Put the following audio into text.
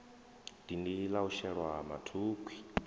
dindi la u shelwa mathukhwi